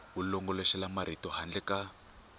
wu longoloxela marito handle ka